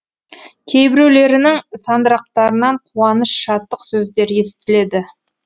кейбіреулерінің сандырақтарынан қуаныш шаттық сөздер естіледі